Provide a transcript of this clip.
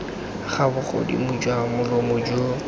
ga bogodimo jwa molomo jo